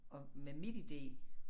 At med MitID